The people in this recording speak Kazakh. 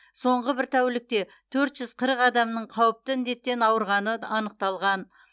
соңғы бір тәулікте төрт жүз қырық адамның қауіпті індеттен ауырғаны анықталған